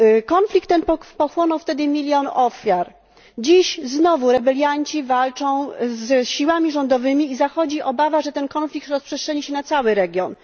Konflikt ten pochłonął wtedy milion ofiar. Dziś znowu rebelianci walczą z siłami rządowymi i zachodzi obawa, że konflikt ten rozprzestrzeni się na cały region.